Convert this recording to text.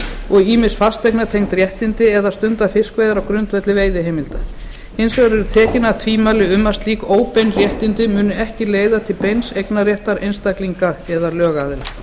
og ýmis fasteignatengd réttindi eða stunda fiskveiðar á grundvelli veiðiheimilda hins vegar eru tekin af tvímæli um að slík óbein réttindi muni ekki leiða til beins eignarréttar einstaklinga eða lögaðila